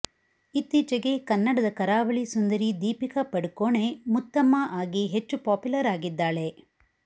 ಇತ್ತೀಚೆಗೆ ಕನ್ನಡದ ಕರಾವಳಿ ಸುಂದರಿ ದೀಪಿಕಾ ಪಡುಕೋಣೆ ಮುತ್ತಮ್ಮ ಆಗಿ ಹೆಚ್ಚು ಪಾಪ್ಯುಲರ್ ಆಗಿದ್ದಾಳೆ